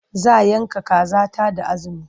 Za yanka kaza ta da azumi.